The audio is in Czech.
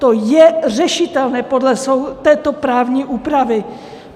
To je řešitelné podle této právní úpravy.